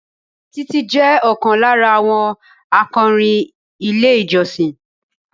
Títí jẹ́ ọ̀kan lára àwọn akọrin ilé ìjọsìn